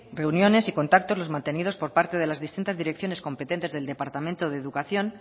reuniones y contactos los mantenidos por parte de las distintas direcciones competentes del departamento de educación